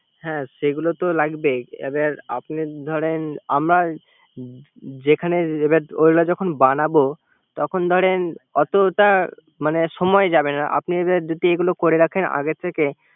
হ্যা সেগুলো তো লাগবেই। এবার আপনি ধরেন আমরা যে খানে যেভাবে ওগুলা যখন বানাবো তখন ধরেন অতটা সময় যাবে আপনি যদি এগুলা করে রাখেন আগে থেকে